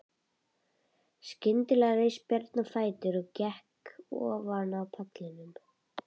Skyndilega reis Björn á fætur og gekk ofan af pallinum.